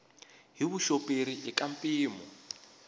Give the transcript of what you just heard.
hi vuxoperi i ka mpimo